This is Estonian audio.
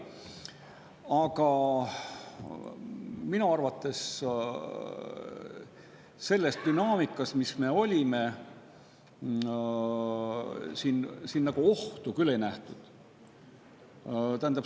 Aga minu arvates selles dünaamikas, mis meil oli, siin ohtu küll ei nähtud.